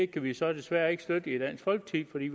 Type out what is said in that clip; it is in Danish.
kan vi så desværre ikke støtte i dansk folkeparti